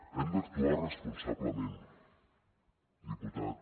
hem d’actuar responsablement diputat